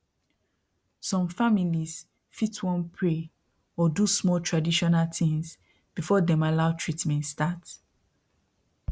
some families fit wan pray or do small traditional things before dem allow treatment start